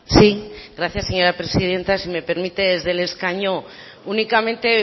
sí gracias señora presidenta si me permite desde el escaño únicamente